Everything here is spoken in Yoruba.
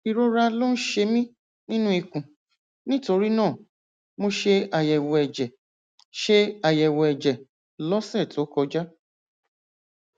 ìrora ló ń ṣe mí nínú ikùn nítorí náà mo ṣe àyẹwò ẹjẹ ṣe àyẹwò ẹjẹ lọsẹ tó kọjá